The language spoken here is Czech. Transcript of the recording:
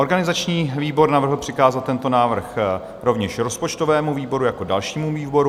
Organizační výbor navrhl přikázat tento návrh rovněž rozpočtovému výboru jako dalšímu výboru.